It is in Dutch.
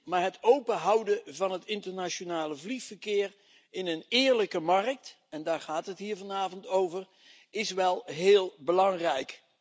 Maar het openhouden van het internationale vliegverkeer in een eerlijke markt en daar gaat het hier vanavond over is wel heel belangrijk.